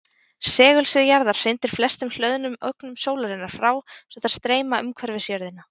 Segulsvið jarðar hrindir flestum hlöðnum ögnum sólarinnar frá svo þær streyma umhverfis jörðina.